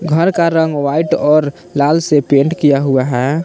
घर का रंग व्हाइट और लाल से पेंट किया हुआ है।